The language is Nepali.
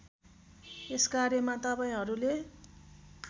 त्यस कार्यक्रममा तपाईँलहरूले